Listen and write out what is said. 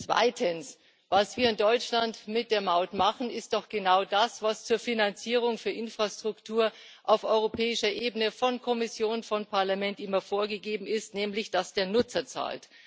Zweitens Was wir in Deutschland mit der Maut machen, ist doch genau das, was zur Finanzierung für Infrastruktur auf europäischer Ebene von Kommission und Parlament immer vorgegeben wurde, nämlich dass der Nutzer zahlt.